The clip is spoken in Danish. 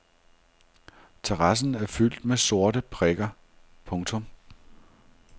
Terrassen er fyldt med sorte prikker. punktum